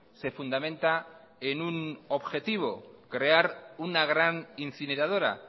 se fundamenta en un objetivo crear una gran incineradora